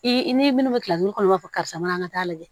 I ni minnu bɛ kɔnɔ i b'a fɔ karisa mana taa lajɛ